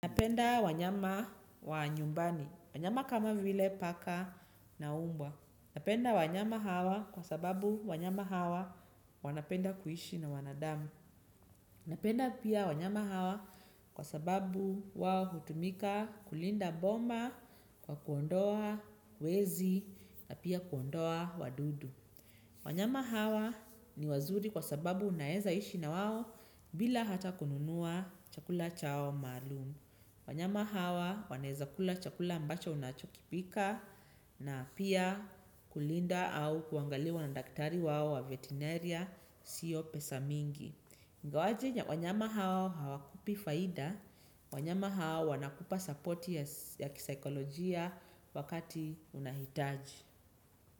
Napenda wanyama wa nyumbani, wanyama kama vile paka na umba. Napenda wanyama hawa kwa sababu wanyama hawa wanapenda kuishi na wanadamu. Napenda pia wanyama hawa kwa sababu wao hutumika kulinda boma kwa kuondoa wezi na pia kuondoa wadudu. Wanyama hawa ni wazuri kwa sababu unaweza ishi na wao bila hata kununua chakula chao maalum. Wanyama hawa wanaweza kula chakula ambacho unachokipika na pia kulinda au kuangaliwa na daktari wao wa vetenarya sio pesa mingi. Ingawaje wanyama hao hawakupi faida, wanyama hao wanakupa supporti ya kisikolojia wakati unahitaji.